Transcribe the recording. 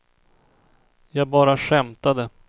jag bara skämtade